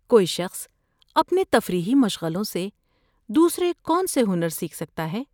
کوئی شخص اپنے تفریحی مشغلوں سے دوسرے کون سے ہنر سیکھ سکتا ہے؟